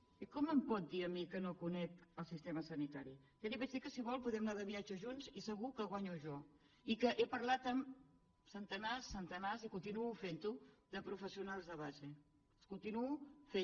i com em pot dir a mi que no conec el sistema sanitari ja li vaig dir que si vol poden anar de viatge junts i segur que guanyo jo i que he parlat amb centenars centenars i continuo fent ho de professionals de base ho continuo fent